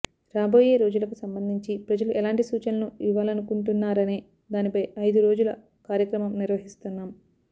రాబోయే రోజులకు సంబంధించి ప్రజలు ఎలాంటి సూచనలు ఇవ్వాలనుకుంటున్నారనే దానిపై ఐదు రోజుల కార్యక్రమం నిర్వహిస్తున్నాం